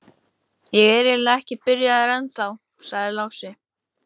Ég er eiginlega ekki byrjaður ennþá, sagði Lási.